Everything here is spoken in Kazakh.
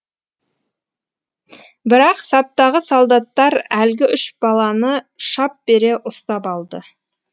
бірақ саптағы солдаттар әлгі үш баланы шап бере ұстап алды